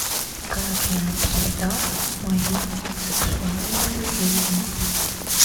как я обсуждал мою сексуальную жизнь